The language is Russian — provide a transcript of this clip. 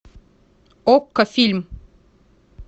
окко фильм